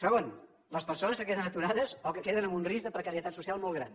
segon les persones que queden aturades o que queden en un risc de precarietat social molt gran